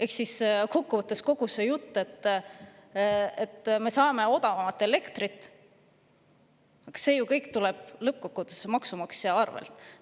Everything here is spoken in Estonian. Ehk siis kogu see jutt, et me saame odavamat elektrit – see kõik tuleb lõppkokkuvõttes ju maksumaksja arvelt.